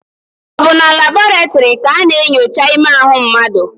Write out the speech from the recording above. Ọ bụ na labọretịrị ka a na-enyocha ime ahụ mmadụ?